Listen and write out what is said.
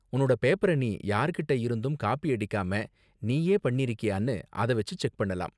உன்னோட பேப்பர நீ யார்கிட்ட இருந்தும் காப்பி அடிக்காம நீயே பண்ணிருக்கியானு அத வெச்சு செக் பண்ணலாம்.